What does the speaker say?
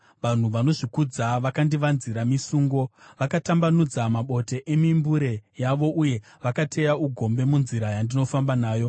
Vanhu vanozvikudza vakandivanzira misungo; vakatambanudza mabote emimbure yavo uye vakateya ugombe munzira yandinofamba nayo. Sera